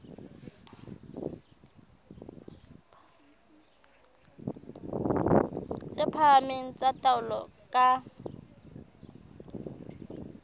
tse phahameng tsa taolo ka